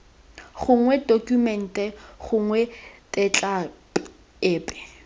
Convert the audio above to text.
gongwe tokumente gongwe tetla epe